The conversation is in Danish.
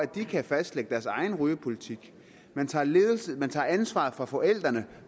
de ikke kan fastlægge deres egen rygepolitik man tager ansvaret fra forældrene